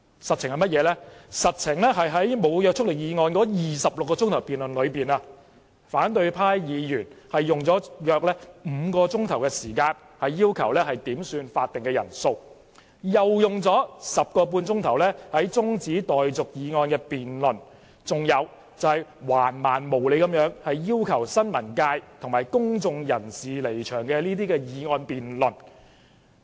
實情是在無約束力議案的26小時辯論中，反對派議員用了約5小時點算法定人數；又用了 10.5 小時辯論中止待續議案，甚至橫蠻無理至動議辯論要求新聞界及公眾人士離場的議案。